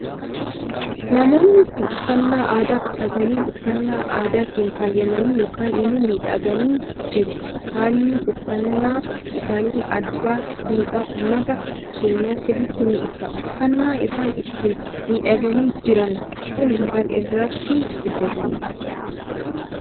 Namoonni Kun uffannaa aadaa uffatanii uffannaa aadaatiin faayamanii yookaan immoo miidhaganii jiru haalli uffannaa isaanii aadaa duudhaa uummata keenyaa sirritti ni ibsa. uffanna isaan ittiin miidhaganii jiran Kun maal irraatii hojjetame?